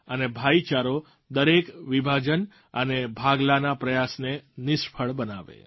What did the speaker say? અને ભાઈચારો દરેક વિભાજન અને ભાગલાના પ્રયાસને નિષ્ફળ બનાવે